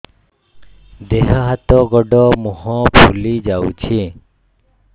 ଦେହ ହାତ ଗୋଡୋ ମୁହଁ ଫୁଲି ଯାଉଛି